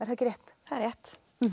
rétt það er rétt